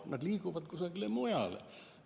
Nad liiguvad kusagile mujale.